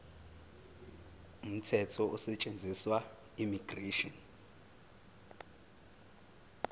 umthetho osetshenziswayo immigration